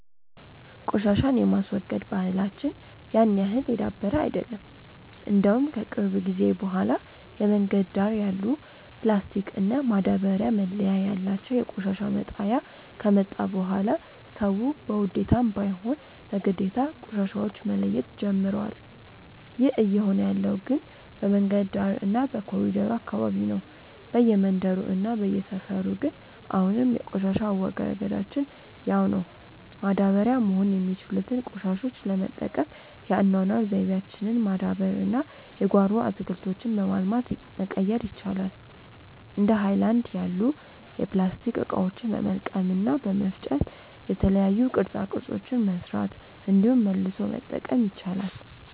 ቆሻሻን የማስወገድ ባህላች ያን ያህል የዳበረ አይደለም። እንደውም ከቅርብ ጊዜ በኋላ የመንገድ ዳር ያሉ ፕላስቲክ እና ማዳበርያ መለያ ያላቸው የቆሻሻ መጣያ ከመጣ በኋላ ሰዉ በውዴታም ባይሆን በግዴታ ቆሻሻዎች መለየት ጀምሮዋል። ይህ እየሆነ ያለው ግን በመንገድ ዳር እና በኮሪደሩ አካባቢ ነው። በየመንደሩ እና በየሰፈሩ ግን አሁንም የቆሻሻ አወጋገዳችን ያው ነው። ማዳበሪያ መሆን የሚችሉትን ቆሻሾች ለመጠቀም የአኗኗር ዘይቤያችንን ማዳበር እና የጓሮ አትክልቶችን በማልማት መቀየር ይቻላል። እንደ ሀይለናድ ያሉ የፕላስቲክ እቃዎችን በመልቀም እና በመፍጨ የተለያዩ ቅርፃ ቅርፆችን መስራት እንዲሁም መልሶ መጠቀም ይቻላል።